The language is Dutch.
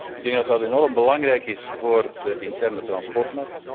Ik denk dat dat enorm belangrijk is voor de interne vervoersmarkt.